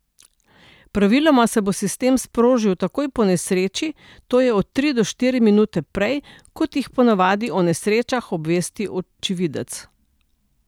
Praviloma se bo sistem sprožil takoj po nesreči, to je od tri do štiri minute prej, kot jih ponavadi o nesrečah obvesti očividec.